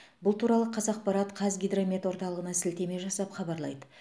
бұл туралы қазақпарат қазгидромет орталығына сілтеме жасап хабарлайды